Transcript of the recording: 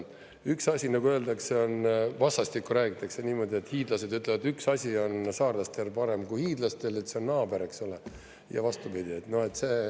Üks asi, nagu öeldakse, on … vastastikku räägitakse niimoodi, et hiidlased ütlevad, et üks asi on saarlastel parem kui hiidlastel: see on naaber, eksole, ja vastupidi.